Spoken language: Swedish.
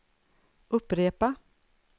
upprepa